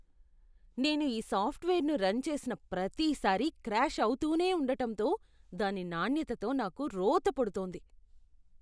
నేను ఈ సాఫ్ట్వేర్ను రన్ చేసిన ప్రతిసారీ క్రాష్ అవుతూనే ఉండటంతో దాని నాణ్యతతో నాకు రోత పుడుతోంది.